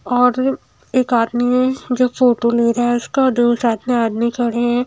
और एक आदमी जो फोटो ले रहा है उसका दो साथ में आदमी खड़े हैं।